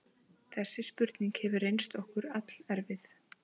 Þessi spurning hefur reynst okkur allerfið.